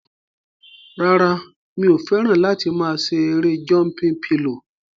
Rárá, mi ò fẹ́ràn láti máa ṣe erée jọmpin pilò